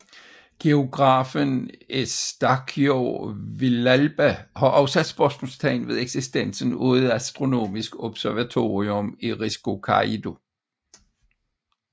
Geografen Eustaquio Villalba har også sat spørgsmålstegn ved eksistensen af et astronomisk observatorium i Risco Caído